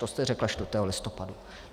To jste řekla 4. listopadu.